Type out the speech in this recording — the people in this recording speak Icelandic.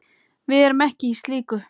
Við erum ekki í slíku.